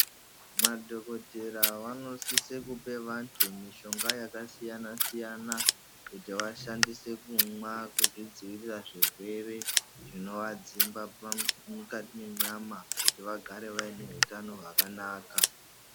Madhokotera vanosise kupe antu mishonga yakasiyana siyana kuti vashandise kumwa kuzvidzivirira zvirwere zvinoadzimba mukati mwenyama kuti vagare vaine hutano hwakanaka.